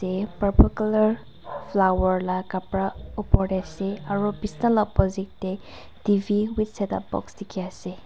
ye purple colour flower la kapra opor te ase aro bisna la opposite te T V with setup box dikhi ase.